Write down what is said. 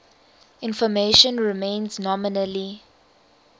information remains nominally